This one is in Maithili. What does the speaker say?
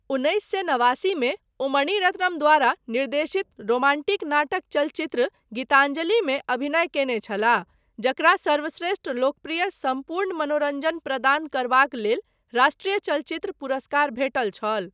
उन्नैस सए नवासी मे ओ मणि रत्नम द्वारा निर्देशित रोमांटिक नाटक चलचित्र गीतञ्जलिमे अभिनय कयने छलाह जकरा सर्वश्रेष्ठ लोकप्रिय सम्पूर्ण मनोरञ्जन प्रदान करबाक लेल राष्ट्रीय चलचित्र पुरस्कार भेटल छल।